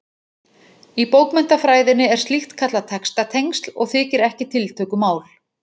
Í bókmenntafræðinni er slíkt kallað textatengsl og þykir ekki tiltökumál.